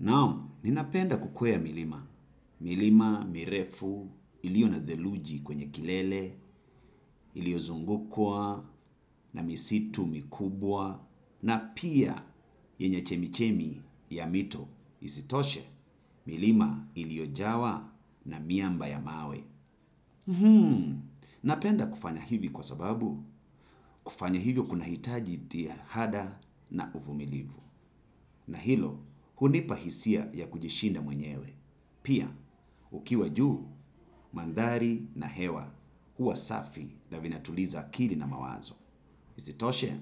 Naam, ninapenda kukwea milima. Milima, mirefu, iliyo na theluji kwenye kilele, iliyozungukwa, na misitu mikubwa, na pia yenye chemichemi ya mito isitoshe, milima iliyojawa na miamba ya mawe. Hmm, napenda kufanya hivi kwa sababu, kufanya hivyo kunahitaji jitihada na uvumilivu. Na hilo, hunipa hisia ya kujishinda mwenyewe. Pia, ukiwa juu, mandhari na hewa, hua safi na vinatuliza akili na mawazo. Isitoshe,